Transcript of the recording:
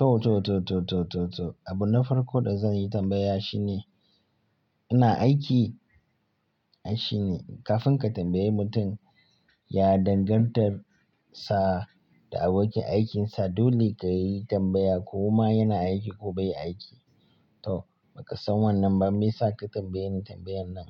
To, to, to, to, to, to, to. Abu na farko da zan yi tambaya shine ina aiki? Ai shine kafin ka tambayi mutum, ya dangantar sa da abokin aikinsa dole ka yi tambaya ko ma yana aiki ko bai aiki. To, baka san wannan ba me yasa ka tambaye ni tambayan nan.